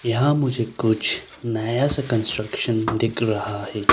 यहां मुझे कुछ नया सा कंस्ट्रक्शन दिख रहा है।